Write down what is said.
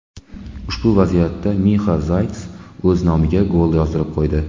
Ushbu vaziyatda Mixa Zayts o‘z nomiga gol yozdirib qo‘ydi.